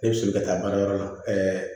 Ne bɛ soli ka taa baarayɔrɔ la